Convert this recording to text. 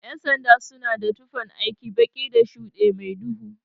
Ƴan sanda suna da tufan aiki, baki da shuɗe mai duhu.